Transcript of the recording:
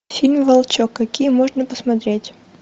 фильм волчок какие можно посмотреть